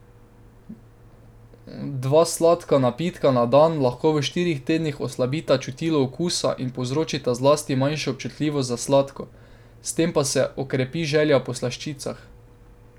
Dva sladka napitka na dan lahko v štirih tednih oslabita čutilo okusa in povzročita zlasti manjšo občutljivost za sladko, s tem pa se okrepi želja po slaščicah.